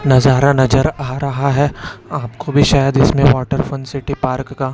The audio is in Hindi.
नजारा नजर आ रहा है आपको भी शायद इसमें वॉटर फन सिटी पार्क का--